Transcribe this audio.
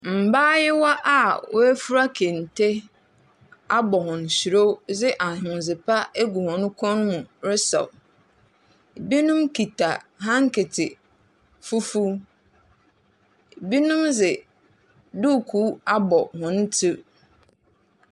Mbaayewa a woefura kente abɔ hɔn hyirew dze ahondze pa egu hɔn kɔn mu resaw. Binom kitsa hanketse fufuw, binom dze duukuu abɔ hɔn tsir.